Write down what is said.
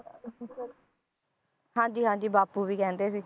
ਹਾਂਜੀ ਹਾਂਜੀ ਬਾਪੂ ਵੀ ਕਹਿੰਦੇ ਸੀ